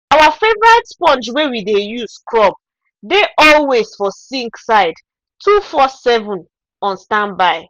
our favourite sponge wey we dey use scrub dey always for sink side 24/7 on standby.